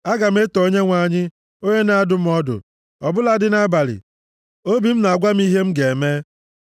Aga m eto Onyenwe anyị, onye na-adụ m ọdụ; ọ bụladị nʼabalị, obi m na-agwa m ihe m ga-eme.